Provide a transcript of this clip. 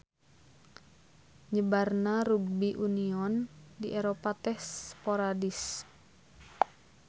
Nyebarna rugbi union di Eropa teh sporadis.